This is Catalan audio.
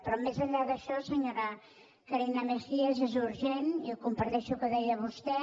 però més enllà d’això senyora carina mejías és urgent i comparteixo el que deia vostè